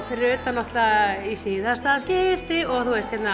fyrir utan náttúrulega í síðasta skipti og